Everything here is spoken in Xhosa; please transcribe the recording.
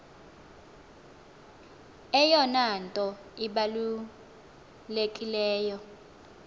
eyona nto ibalulekileyo